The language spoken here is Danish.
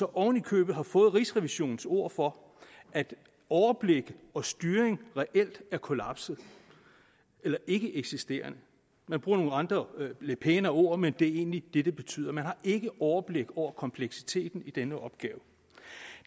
oven i købet har fået rigsrevisionens ord for at overblik og styring reelt er kollapset eller ikkeeksisterende man bruger nogle andre lidt pænere ord men det er egentlig det det betyder man har ikke overblik over kompleksiteten i denne opgave